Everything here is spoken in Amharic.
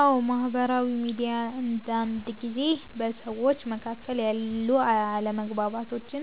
አዎ፣ ማህበራዊ ሚዲያ አንዳንድ ጊዜ በሰዎች መካከል ያሉ አለመግባባቶችን